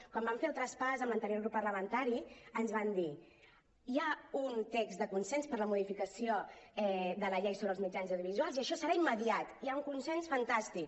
quan vam fer el traspàs amb l’anterior grup parlamentari ens van dir hi ha un text de consens per la modificació de la llei sobre els mitjans audiovisuals i això serà immediat hi ha un consens fantàstic